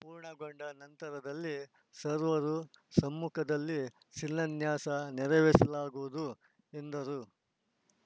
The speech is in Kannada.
ಪೂರ್ಣಗೊಂಡ ನಂತರದಲ್ಲಿ ಸರ್ವರ ಸಮ್ಮುಖದಲ್ಲಿ ಶಿಲಾನ್ಯಾಸ ನೆರವೇರಿಸಲಾಗುವುದು ಎಂದರು